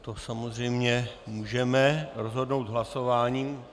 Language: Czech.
To samozřejmě můžeme rozhodnout hlasováním.